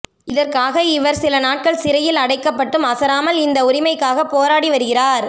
இதற்காக இவர் சில நாட்கள் சிறையில் அடைக்கப்பட்டும் அசராமல் இந்த உரிமைக்காக போராடி வருகிறார்